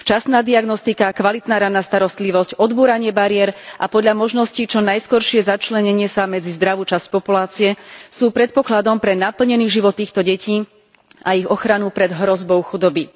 Včasná diagnostika, kvalitná raná starostlivosť, odbúranie bariér a podľa možností čo najskoršie začlenenie sa medzi zdravú časť populácie sú predpokladom pre naplnený život týchto detí a ich ochranu pred hrozbou chudoby.